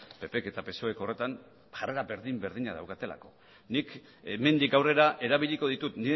ppk eta psoek horretan jarrera berdin berdina daukatelako nik hemendik aurrera erabiliko ditut